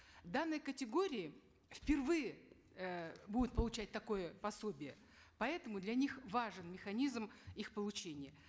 данные категории впервые э будут получать э такое пособие поэтому для них важен механизм их получения